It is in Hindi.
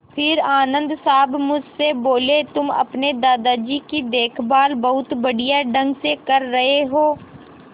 फिर आनन्द साहब मुझसे बोले तुम अपने दादाजी की देखभाल बहुत बढ़िया ढंग से कर रहे हो